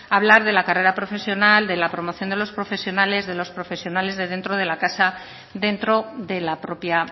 habla de la carrera profesional de la promoción de los profesionales de los profesionales de dentro de la casa dentro de la propia